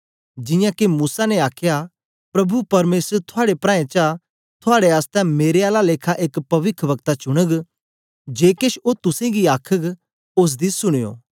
जियां के मूसा ने आखया प्रभु परमेसर थुआड़े प्राऐं चा थुआड़े आसतै मेरे आला लेखा एक पविखवक्ता चुनग जे केछ ओ तुसेंगी आखघ ओसदी सुनयो